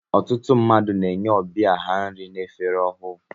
Ọtụtụ mmadụ na-enye ọbịa ha nri n'efere ọhụụ.